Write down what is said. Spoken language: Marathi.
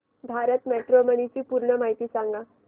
भारत मॅट्रीमोनी ची पूर्ण माहिती सांगा